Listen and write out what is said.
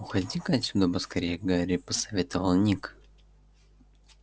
уходи-ка отсюда поскорее гарри посоветовал ник